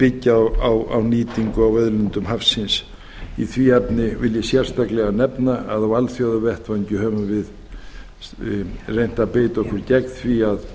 byggja á nýtingu á auðlindum hafsins í því efni vil ég sérstaklega nefna að á alþjóðavettvangi höfum við reynt að beita okkur gegn því að